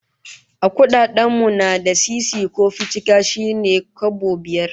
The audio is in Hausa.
A kudaden mu na da, sisi ko ficika shine kwabo biyar